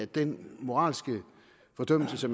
den moralske fordømmelse